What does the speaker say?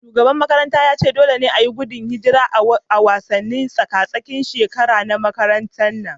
Shugaban makarantar ya dage cewa dole ne a yi tseren gudun hijira a wasannin tsaka-tsakin shekara-shekara na makaranta